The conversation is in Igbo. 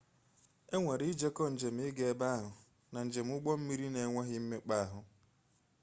enwere ijeko jem ịga ebe ahụ na njem ụgbọ mmiri na-enweghị mmekpa ahụ